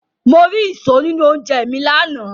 Mo ri ìṣó nínú oúnjẹ mi lánàá.